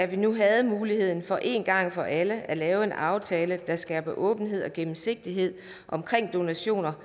vi nu havde muligheden for en gang for alle at lave en aftale der skaber åbenhed og gennemsigtighed om donationer